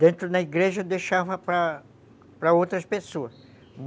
Dentro da igreja eu deixava para para outras pessoas.